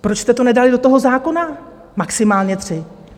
Proč jste to nedali do toho zákona, maximálně tři?